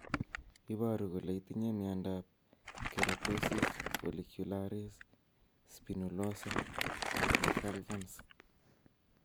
Iporu ne kole itinye miondap Keratosis follicularis spinulosa decalvans .